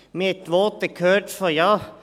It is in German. – Man hat Voten gehört von: